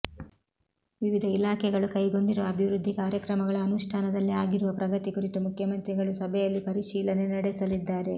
ವಿವಿಧ ಇಲಾಖೆಗಳು ಕೈಗೊಂಡಿರುವ ಅಭಿವೃದ್ಧಿ ಕಾರ್ಯಕ್ರಮಗಳ ಅನುಷ್ಠಾನದಲ್ಲಿ ಆಗಿರುವ ಪ್ರಗತಿ ಕುರಿತು ಮುಖ್ಯಮಂತ್ರಿಗಳು ಸಭೆಯಲ್ಲಿ ಪರಿಶೀಲನೆ ನಡೆಸಲಿದ್ದಾರೆ